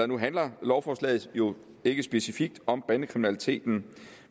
nu handler lovforslaget jo ikke specifikt om bandekriminaliteten